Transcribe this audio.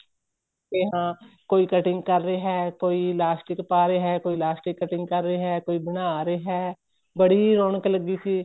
ਤੇ ਹਾਂ ਕੋਈ cutting ਕਰ ਰਿਹਾ ਕੋਈ ਲਾਸਟਿਕ ਪਾਹ ਰਿਹਾ ਕੋਈ ਲਾਸਟਿਕ cutting ਕਰ ਰਿਹਾ ਕੋਈ ਬਣਾ ਰਿਹਾ ਏ ਬੜੀ ਰੋਕਣ ਲੱਗੀ ਸੀ